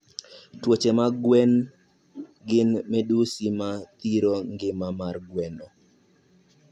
Tuoche mag gweno gin midhusi ma thiro ngima mar gweno